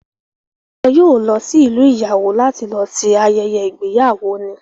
Wọn yóò lọ sí ìlú ìyàwó láti lọ ṣe ayẹyẹ ìgbéyàwó ni